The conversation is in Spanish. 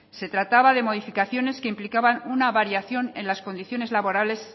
se trataba de modificaciones que implicaban una variación en las condiciones laborales